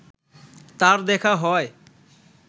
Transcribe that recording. তার দেখা হয়